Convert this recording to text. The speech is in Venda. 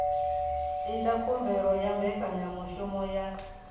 ita khumbelo ya mbekanyamushumo ya